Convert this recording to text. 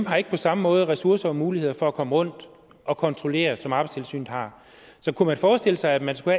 har ikke på samme måde ressourcer og muligheder for at komme rundt og kontrollere som arbejdstilsynet har så kunne man forestille sig at man skulle